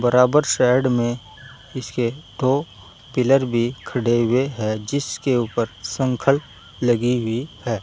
बराबर साइड में इसके दो पिलर भी खड़े हुए हैं जिसके ऊपर संखल लगी हुई है।